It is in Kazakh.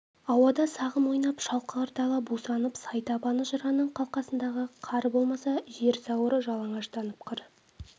ауада сағым ойнап шалқар дала бусанып сай табаны жыраның қалқасындағы қар болмаса жер сауыры жалаңаштанып қыр